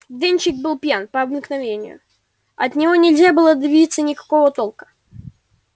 денщик был пьян по обыкновению от него нельзя было добиться никакого толка